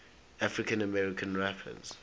african american rappers